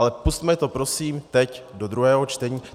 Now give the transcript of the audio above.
Ale pusťme to prosím teď do druhého čtení.